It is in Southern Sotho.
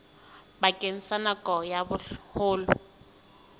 bakeng sa nako ya boholo